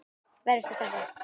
Verjast og sækja.